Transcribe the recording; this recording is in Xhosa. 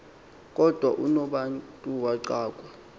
kodwa unobantu waxakwa